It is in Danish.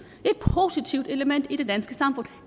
positivt element i det danske samfund og